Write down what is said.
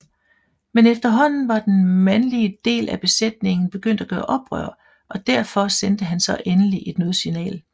Men efterhånden var den mandeligedel af besætningen begyndt at gøre oprør og derfor sendte han så endelig et nødsignal